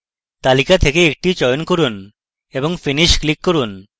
তালিকা থেকে একটি চয়ন করুন এবং finish click করুন